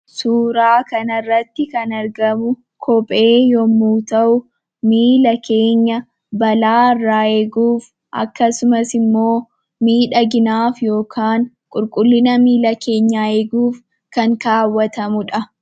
Suuraa kanarratti kan argamu kophee yommuu ta'u, miila keenya balaarraa eeguuf akkasumas miidhaginaaf yookaan qulqullina miila keenyaa eeguuf kan kaawwatamudha.